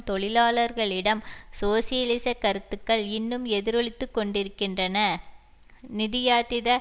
தொழிலாளர்களிடம் சோசியலிச கருத்துக்கள் இன்னும் எதிரொலித்துக் கொண்டிருக்கின்றன நிதியாதித